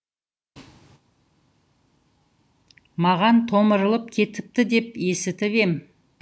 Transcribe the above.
маған томырылып кетіпті деп есітіп ем